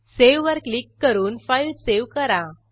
सेव्हवर click करून file save करा